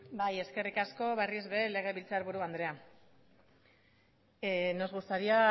eskerrik asko berriro ere legebiltzarburu andrea nos gustaría